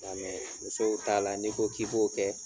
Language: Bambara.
Nka musow t'a la n'i ko k'i b'o kɛ